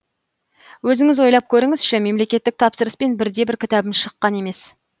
өзіңіз ойлап көріңізші мемлекеттік тапсырыспен бірде бір кітабым шыққан емес